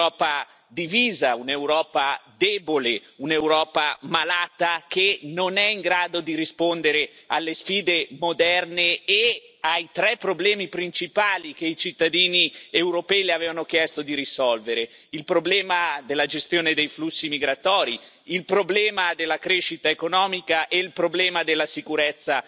Un'Europa divisa, un'Europa debole, un'Europa malata che non è in grado di rispondere alle sfide moderne e ai tre problemi principali che i cittadini europei Le avevano chiesto di risolvere il problema della gestione dei flussi migratori, il problema della crescita economica e il problema della sicurezza